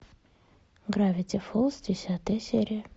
гравити фолз десятая серия